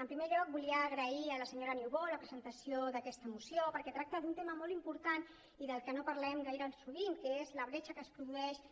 en primer lloc volia agrair a la senyora niubó la presentació d’aquesta moció perquè tracta d’un tema molt important i del que no parlem gaire sovint que és la bretxa que es produeix